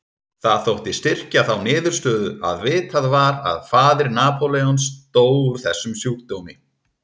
Það þótti styrkja þá niðurstöðu að vitað var að faðir Napóleons dó úr þessum sjúkdómi.